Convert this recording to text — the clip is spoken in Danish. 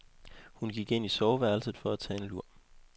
Hun gik ind i soveværelset for at tage en lur.